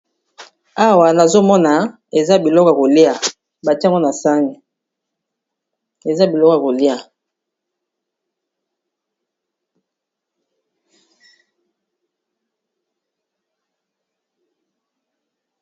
awa nazomona eza biloka kolia batiamgona sani eza bilokwa kolia